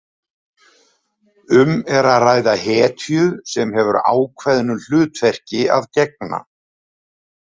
Um er að ræða hetju sem hefur ákveðnu hlutverki að gegna.